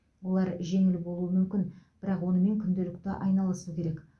олар жеңіл болуы мүмкін бірақ онымен күнделікті айналысу керек